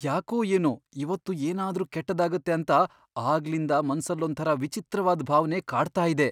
ಯಾಕೋ ಏನೋ ಇವತ್ತು ಏನಾದ್ರೂ ಕೆಟ್ಟದಾಗತ್ತೆ ಅಂತ ಆಗ್ಲಿಂದ ಮನ್ಸಲ್ಲೊಂಥರ ವಿಚಿತ್ರವಾದ್ ಭಾವ್ನೆ ಕಾಡ್ತಾ ಇದೆ.